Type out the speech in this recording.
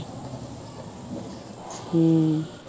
ਹਮ